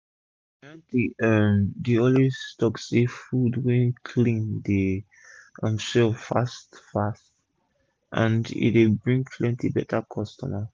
my auntie um dey always talk say food wey clean dey um sell fast fast and e dey bring plenty beta customer